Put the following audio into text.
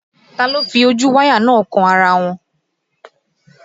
Ta ló fi ojú wáyà náà kan ara wọn?